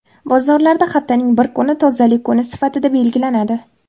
Bozorlarda haftaning bir kuni Tozalik kuni sifatida belgilanadi.